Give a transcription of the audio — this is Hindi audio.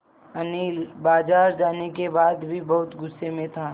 अनिल बाज़ार जाने के बाद भी बहुत गु़स्से में था